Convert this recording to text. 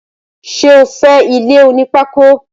Sé o fé ilé oní pákó?